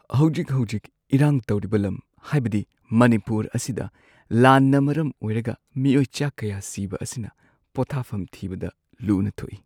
ꯍꯧꯖꯤꯛ-ꯍꯧꯖꯤꯛ ꯏꯔꯥꯡ ꯇꯧꯔꯤꯕ ꯂꯝ ꯍꯥꯏꯕꯗꯤ ꯃꯅꯤꯄꯨꯔ ꯑꯁꯤꯗ ꯂꯥꯟꯅ ꯃꯔꯝ ꯑꯣꯏꯔꯒ ꯃꯤꯑꯣꯏ ꯆꯥ ꯀꯌꯥ ꯁꯤꯕ ꯑꯁꯤꯅ ꯄꯣꯊꯥꯐꯝ ꯊꯤꯕꯗ ꯂꯨꯅ ꯊꯣꯛꯏ ꯫